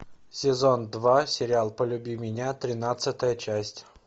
сезон два сериал полюби меня тринадцатая часть